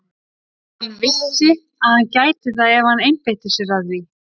Hann vissi að hann gæti það ef hann einbeitti sér að því.